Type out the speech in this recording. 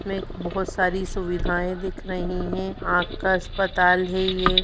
में एक बहुत सारी सुविधाएं दिख रही हैं आँख का अस्पताल है ये।